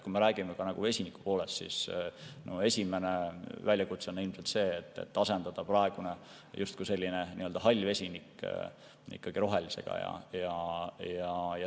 Kui me räägime vesinikust, siis esimene väljakutse on ilmselt see, et asendada praegune justkui selline hall vesinik rohelisega.